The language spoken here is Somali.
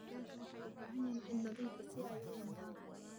Digaagga waxay u baahan yihiin ciid nadiif ah si ay u ordaan.